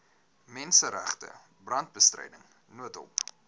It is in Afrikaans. menseregte brandbestryding noodhulp